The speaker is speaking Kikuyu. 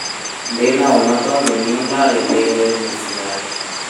ndirĩ na ũma tondũ niĩ ndarĩhĩirwo nĩ mũciari